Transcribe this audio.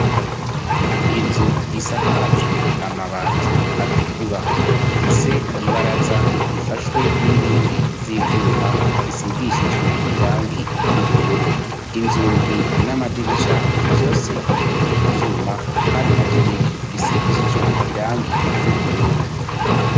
inzu isakajwe amabati atukura ifise ibaraza rifashwe n'inkingi z'ivyuma zisigishijwe irangi ry'ubururu inzugi n'amadirisha vyose bikozwe mu vyuma kandi navyo nyene bisigishijwe irangi ry'ubururu